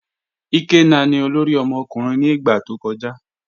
Ikenna ni ọlọ́rì ọmọkùnrin ni igba tó kọja.